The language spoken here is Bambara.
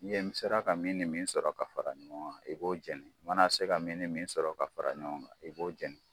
N'i ye n'i sera ka min nin min sɔrɔ ka fara ɲɔgɔn kan i b'o jeni i mana se ka min ni min sɔrɔ ka fara ɲɔgɔn i b'o jeni.